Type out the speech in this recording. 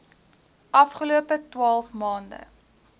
afgelope twaalf maande